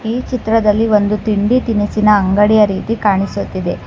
ಈ ಚಿತ್ರದಲ್ಲಿ ಒಂದು ತಿಂಡಿ ತಿನಿಸಿನ ಅಂಗಡಿಯ ರೀತಿ ಕಾಣಿಸುತ್ತಿದೆ